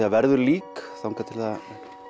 það verður lík þar til það